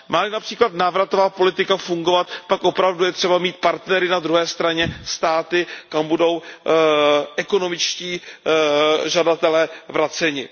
Má li například návratová politika fungovat, pak opravdu je třeba mít partnery na druhé straně, státy, kam budou ekonomičtí žadatelé vraceni.